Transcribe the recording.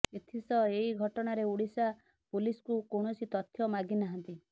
ଏଥିସହ ଏହି ଘଟଣାରେ ଓଡିଶା ପୁଲିସ୍କୁ କୌଣସି ତଥ୍ୟ ମାଗି ନାହାନ୍ତି